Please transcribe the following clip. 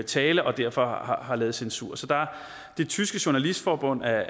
tale og derfor har lavet censur det tyske journalistforbund er